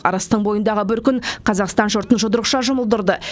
арыстың бойындағы бір күн қазақстан жұртын жұдырықша жұмылдырды